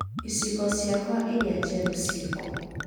Iciko ciakwa ĩrĩa njerũ ciikũ?